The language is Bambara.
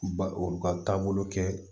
Ba olu ka taabolo kɛ